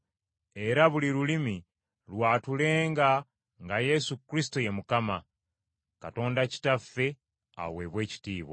era buli lulimi lwatulenga nga Yesu Kristo ye Mukama, Katonda Kitaffe aweebwe ekitiibwa.